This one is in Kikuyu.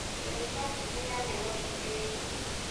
Unibasiti ya Nairobi ĩi ngumo.